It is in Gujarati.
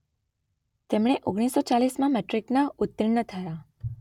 તેમણે ઓગણીસ સો ચાલીસમાં મેટ્રિકમાં ઉત્તીર્ણ થયા.